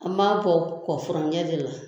An b'a bɔ kɔ furaŋɛ de la